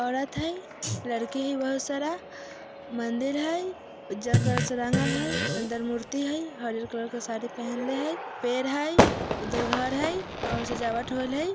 औरत हई लड़की हई बहुत सारा मंदिर हई उज्जर कलर से रंगल हई अंदर मूर्ति हई हरियर कलर के साड़ी पहनले हई पेड़ हई उधर घर हई और सजावट होल हई।